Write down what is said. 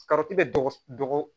bɛ dɔgɔ